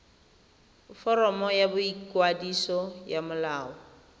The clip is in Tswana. foromo ya boikwadiso ya molao